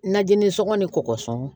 Najininsɔngɔ ni kɔkɔsɔn